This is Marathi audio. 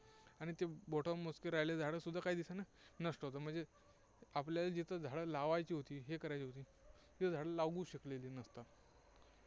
आणि ते बोटांवर मोजके राहिलेली झाडं सुद्धा काही दिवसांनी नष्ट होतात, म्हणजे आपल्याला जिथे झाडं लावायची होती, हे करायची होती, तिथे झाडं लावू शकले नाही नंतर.